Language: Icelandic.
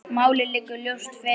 Málið liggur ljóst fyrir.